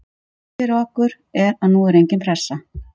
Það sem er gott fyrir okkur er að nú er engin pressa.